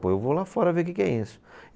Pô, eu vou lá fora ver o que que é isso.